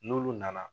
N'olu nana